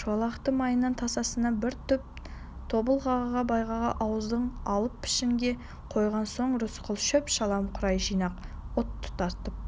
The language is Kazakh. шолақты маяның тасасына бір түп тобылғыға байлап ауыздығын алып пішенге қойған соң рысқұл шөп-шалам қурай жинап от тұтатып